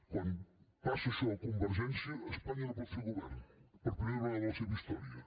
quan passa això a convergència espanya no pot fer govern per primera vegada a la seva història